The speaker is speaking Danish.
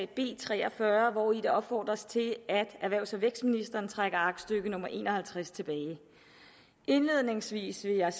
b tre og fyrre hvori der opfordres til at erhvervs og vækstministeren trækker aktstykke nummer en og halvtreds tilbage indledningsvis vil jeg